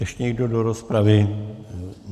Ještě někdo do rozpravy?